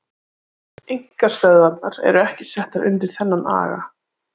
Einkastöðvarnar eru ekki settar undir þennan aga.